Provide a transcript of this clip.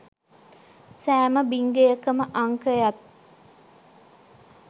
සෑම බිං ගෙයකම අංකයත්